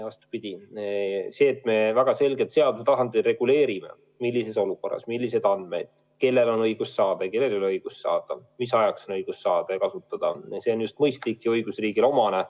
Vastupidi, see, et me väga selgelt seaduse tasandil reguleerime, millises olukorras milliseid andmeid kellel on õigus saada ja kellel ei ole õigust saada, mis ajal on õigus neid andmeid saada ja kasutada – see on mõistlik ja õigusriigile omane.